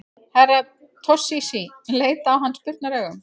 Herra Toshizi leit á hann spurnaraugum.